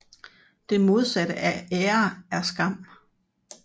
Det modsatte af ære er skam